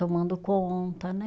Tomando conta, né?